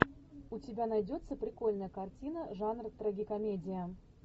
у тебя найдется прикольная картина жанра трагикомедия